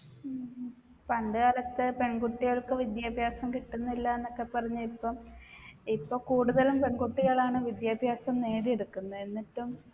ഉം പണ്ടുകാലത്തെ പെൺകുട്ടികൾക്ക് വിദ്യാഭ്യാസം കിട്ടുന്നില്ലാന്നൊക്കെ പറഞ്ഞ ഇപ്പം ഇപ്പ കൂടുതലും പെണ്‍കുട്ടികളാണ് വിദ്യാഭ്യാസം നേടിയെടുക്കുന്നെ എന്നിട്ടും